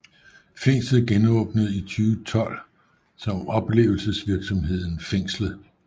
Fængslet genåbnede i 2012 som oplevelsesvirksomheden FÆNGSLET